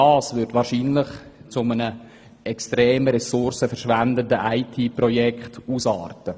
Das würde wahrscheinlich zu einem extrem Ressourcen verschwendenden IT-Projekt ausarten.